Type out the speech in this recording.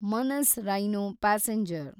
Manas rhino passenger